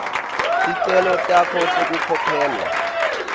ticelo takho tekukhokhelwa